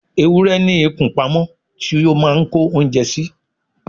ewúrẹ́ ní ikùn pamọ́ tí ó máà ń kó oúnjẹ sí